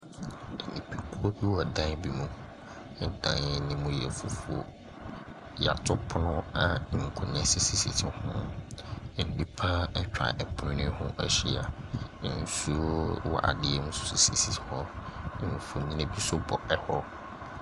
Nipa kuo bi wɔ dan bi mu ɛdan no yɛ fufoɔ ya to pono a nkonnwa sisi hɔn nipa ɛtwa pono hɔn ɛhyia nsuo so wɔ adeɛ mu sisi hɔ mfoni nso bɔ hɔ.